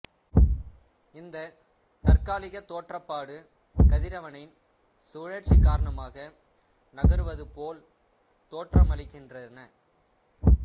இந்தத் தற்காலிகத் தோற்றப்பாடு கதிரவனின் சுழற்சி காரணமாக நகருவது போல் தோற்றமளிக்கின்றன